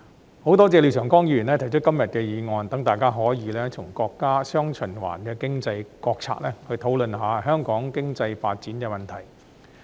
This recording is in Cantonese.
我很多謝廖長江議員提出今天的議案，讓大家可以從國家"雙循環"經濟國策方面，討論香港經濟發展的問題。